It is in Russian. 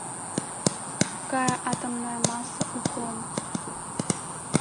какая атомная масса у хром